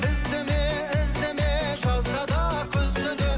іздеме іздеме жазда да күзде де